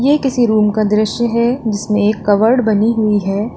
ये किसी रूम का दृश्य है जिसमें एक कवर्ड बनी हुई है।